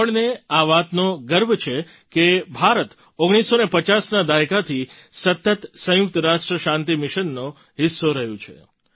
આપણને આ વાતનો ગર્વ છે કે ભારત 1950ના દાયકાથી સતત સંયુક્ત રાષ્ટ્ર શાંતિ મિશનનો હિસ્સો રહ્યું છે